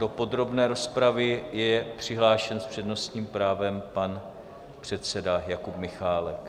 Do podrobné rozpravy je přihlášen s přednostním právem pan předseda Jakub Michálek.